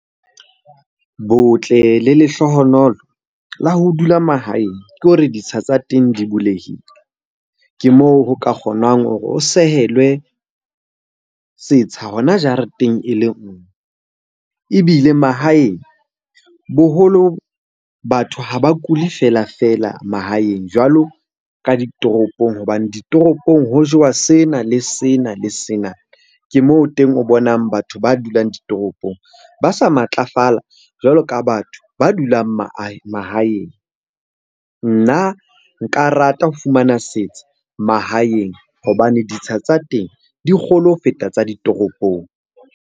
Botle le lehlohonolo la ho dula mahaeng ke hore ditsha tsa teng di bulehile. Ke moo ho ka kgonang hore o sehelwe setsha hona jareteng e le nngwe. Ebile mahaeng boholo batho ha ba kula feela-feela mahaeng jwalo ka ditoropong hobane ditoropong ho jewa sena, le sena, le sena. Ke moo teng o bonang batho ba dulang ditoropong ba sa matlafala jwalo ka batho ba dulang mahaeng. Nna nka rata ho fumana setsha mahaeng hobane ditsha tsa teng di kgolo ho feta tsa ditoropong.